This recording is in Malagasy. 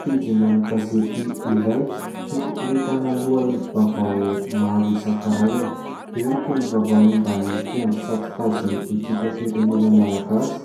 Pejina gazety iray no ahitana lohahevi-baovao maro isan-karazany. Eo ny toy ny vaovao momba ny mpiandry tsato-kazon'ny ekipam-pirenena malagasy.